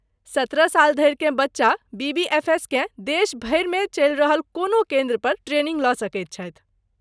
सत्रह साल धरिकेँ बच्चा बीबीएफएसकेँ देश भरिमे चलि रहल कोनो केन्द्र पर ट्रेनिंग लऽ सकैत छथि।